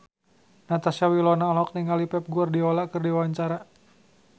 Natasha Wilona olohok ningali Pep Guardiola keur diwawancara